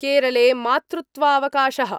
केरले मातृत्वावकाशः